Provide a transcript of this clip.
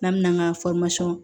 N'an mɛna k'an ka